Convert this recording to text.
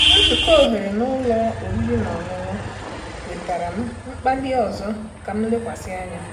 Nzukọ ohere na ụlọ oriri na ọṅụṅụ wetara m mkpali ọzọ ka m lekwasị anya.